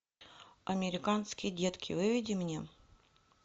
американские детки выведи мне